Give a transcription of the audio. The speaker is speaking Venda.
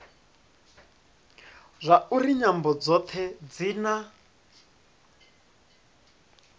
zwauri nyambo dzothe dzi na